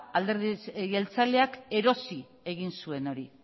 alderdi jeltzaleak erosi egin zuen hori